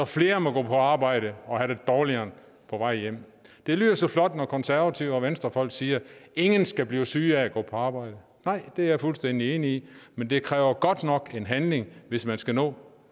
flere må gå på arbejde og have det dårligere på vej hjem det lyder så flot når konservative og venstrefolk siger at ingen skal blive syge af at gå på arbejde nej det er jeg fuldstændig enig i men det kræver godt nok en handling hvis man skal nå